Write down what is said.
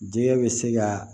Diɲɛ bɛ se ka